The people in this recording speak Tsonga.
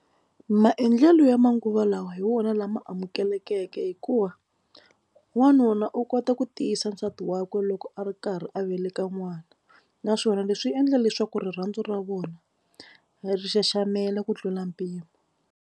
Maendlelo ya manguva lawa hi wona lama amukelekeke hikuva n'wanuna u kota ku tiyisa nsati wakwe loko a ri karhi a veleka n'wana naswona leswi endla leswaku rirhandzu ra vona ri xaxamela ku tlula mpimo.